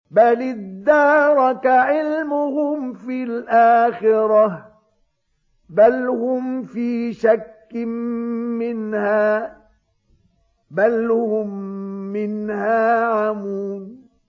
بَلِ ادَّارَكَ عِلْمُهُمْ فِي الْآخِرَةِ ۚ بَلْ هُمْ فِي شَكٍّ مِّنْهَا ۖ بَلْ هُم مِّنْهَا عَمُونَ